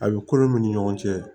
A bɛ kolo min ni ɲɔgɔn cɛ